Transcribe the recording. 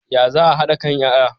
Ya za a hada kan yaya?